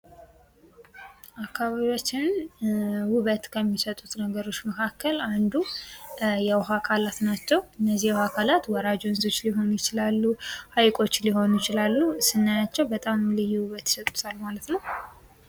አባቢያችንን ዉበት ከሚሰጡት ነገርቾ መካከል አንዱ የዉኃ አካላት ናቸዉ። እነዚህ የዉኃ አካላት ወራጅ ወንዞች ሊሆኑ ይችላሉ። ሀይቆች ሊሆኑ ይችላሉ። ስናያቸዉ በጣም ልዩ ዉበት ይሰጡታል ማለት ነዉ።